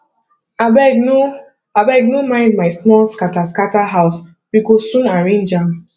abeg no abeg no mind my small scatter scatter house we go soon arrange am